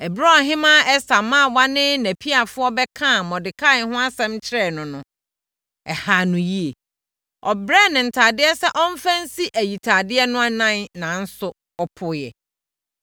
Ɛberɛ a ɔhemmaa Ɛster mmaawa ne nʼapiafoɔ bɛkaa Mordekai ho asɛm kyerɛɛ no no, ɛhaa no yie. Ɔbrɛɛ no ntadeɛ sɛ ɔmfa nsi ayitadeɛ no anan nanso, ɔpoeɛ.